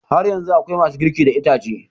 Har yanzu akwai ma su girki da itace